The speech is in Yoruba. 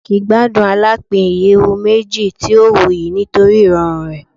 Mark gbadun alapin iyẹwu meji ti o wuyi nitori irọrun rẹ